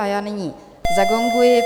A já nyní zagonguji.